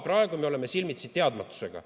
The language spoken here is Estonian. Praegu me oleme silmitsi teadmatusega.